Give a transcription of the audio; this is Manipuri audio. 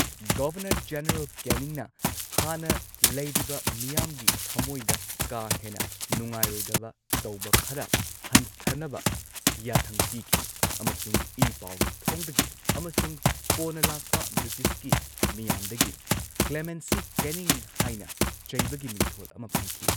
ꯒꯕꯔꯅꯔ ꯖꯦꯅꯔꯦꯜ ꯀꯦꯅꯤꯡꯅ ꯍꯥꯟꯅ ꯂꯩꯔꯤꯕ ꯃꯤꯌꯥꯝꯒꯤ ꯊꯃꯣꯏꯗ ꯀꯥ ꯍꯦꯟꯅ ꯅꯨꯉꯥꯏꯔꯣꯏꯗꯕ ꯇꯧꯕ ꯈꯔ ꯍꯟꯊꯅꯕ ꯌꯥꯊꯪ ꯄꯤꯈꯤ ꯑꯃꯁꯨꯡ ꯏ ꯄꯥꯎꯒꯤ ꯊꯣꯡꯗꯒꯤ ꯑꯃꯁꯨꯡ ꯀꯣꯟꯅ ꯂꯥꯛꯄ ꯕ꯭ꯔꯤꯇꯤꯁꯀꯤ ꯃꯤꯌꯥꯝꯗꯒꯤ ꯀ꯭ꯂꯦꯃꯦꯟꯁꯤ ꯀꯦꯅꯤꯡ ꯍꯥꯏꯅ ꯆꯩꯕꯒꯤ ꯃꯤꯡꯊꯣꯟ ꯑꯃ ꯐꯪꯈꯤ꯫